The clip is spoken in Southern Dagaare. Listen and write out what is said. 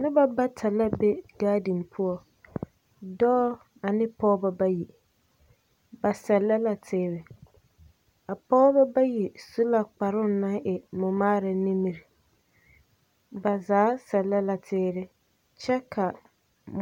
Noba bata la be gaadiŋ poɔ. Dɔɔ ane pɔɔba bayi. Ba sɛllɛ la teere. A pɔɔba bayi su la kparoŋ naŋ e mɔmaara nimiri. Ba zaa sɛllɛ la teere kyɛ kaa